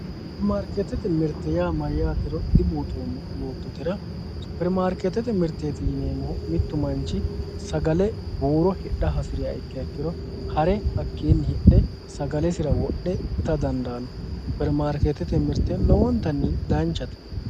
supperimaarkeetete mirte mayyaatero dibuuxoommo yoottotera supperimaarkeetete mirteeti yineemmohu mittu manchi sagale buuro hidha hasi'riha ikkiha ikkiro hare hakkiinni hidhe sagalesira wodhe ita dandaanno supperimaarkeetete mirte lowontanni danchate.